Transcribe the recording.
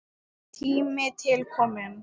Tími til kominn!